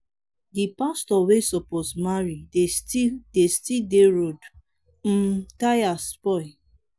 the pastor wey suppose marry de still dey road. im tire spoil.